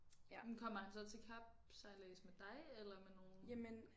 Men kommer han så til kapsejlads med dig eller med nogen